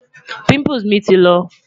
pimples mi ti lọ